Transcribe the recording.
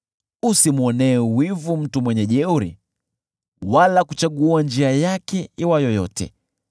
Usimwonee wivu mtu mwenye jeuri wala kuchagua njia yake iwayo yote,